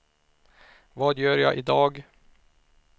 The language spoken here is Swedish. vad gör jag idag